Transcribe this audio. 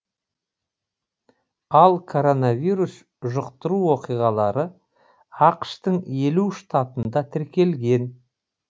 ал коронавирус жұқтыру оқиғалары ақш тың елу штатында тіркелген